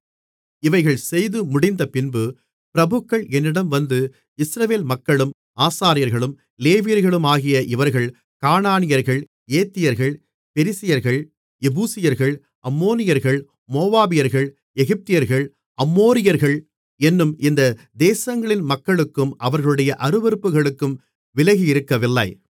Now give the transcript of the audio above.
இவைகள் செய்து முடிந்தபின்பு பிரபுக்கள் என்னிடம் வந்து இஸ்ரவேல் மக்களும் ஆசாரியர்களும் லேவியர்களும் ஆகிய இவர்கள் கானானியர்கள் ஏத்தியர்கள் பெரிசியர்கள் எபூசியர்கள் அம்மோனியர்கள் மோவாபியர்கள் எகிப்தியர்கள் அம்மோரியர்கள் என்னும் இந்த தேசங்களின் மக்களுக்கும் அவர்களுடைய அருவருப்புகளுக்கும் விலகியிருக்கவில்லை